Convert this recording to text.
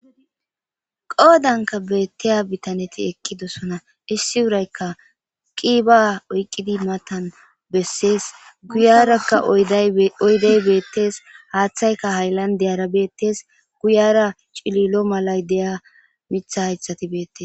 qoodanka beetteya bitaneti ekki dosona issi wuraykka qiba oyqqidi matan bessees guyarakka oydey beettees haaththayka hayllan deyara beettes guyara cililo malay deya mitha haythati beettes